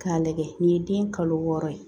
K'a lajɛ nin ye den kalo wɔɔrɔ ye